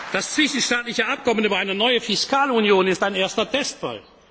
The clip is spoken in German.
Das zwischenstaatliche Abkommen über eine neue Fiskalunion ist ein erster Testfall.